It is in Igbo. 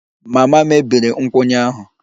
Mama mebiri nkwụnye ahụ